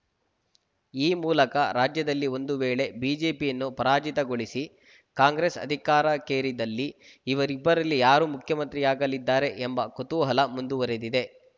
ಈ ಮೂಲಕ ರಾಜ್ಯದಲ್ಲಿ ಒಂದು ವೇಳೆ ಬಿಜೆಪಿಯನ್ನು ಪರಾಜಿತಗೊಳಿಸಿ ಕಾಂಗ್ರೆಸ್‌ ಅಧಿಕಾರಕ್ಕೇರಿದಲ್ಲಿ ಇವರಿಬ್ಬರಲ್ಲಿ ಯಾರು ಮುಖ್ಯಮಂತ್ರಿಯಾಗಲಿದ್ದಾರೆ ಎಂಬ ಕುತೂಹಲ ಮುಂದುವರಿದಿದೆ